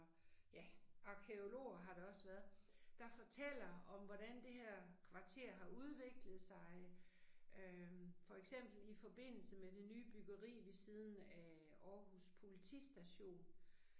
Ja, arkæologer har der også været, der fortæller om hvordan det her kvarter har udviklet sig øh for eksempel i forbindelse med det nye byggeri ved siden af Aarhus politistation